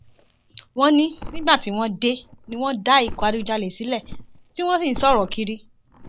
wọn ní nígbà tí wọn dé ni wọn dá ikọ adigunjalè sílẹ tí wọn sì ń sọrọ kiri